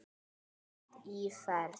Flott íferð.